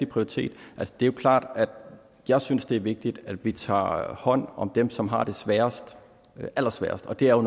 prioritet det er jo klart at jeg synes det er vigtigt at vi tager hånd om dem som har det allersværest og det er